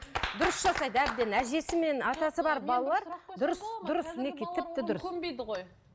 дұрыс жасайды әбден әжесі мен атасы бар балалар дұрыс дұрыс мінекей тіпті дұрыс